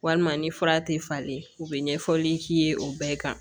Walima ni fura tɛ falen u bɛ ɲɛfɔli k'i ye o bɛɛ kan